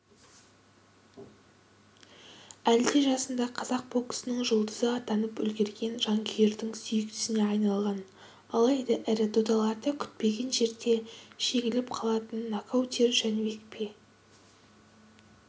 әлде жасында қазақ боксының жұлдызы атанып үлгерген жанкүйердің сүйіктісіне айналған алайда ірі додаларда күтпеген жерде жеңіліп қалатын нокаутер жәнібек пе